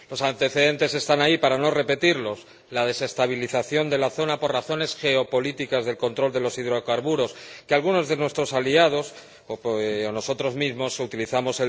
Los antecedentes están ahí para no repetirlos la desestabilización de la zona por razones geopolíticas de control de los hidrocarburos, que algunos de nuestros aliados utilizan —o nosotros mismos utilizamos—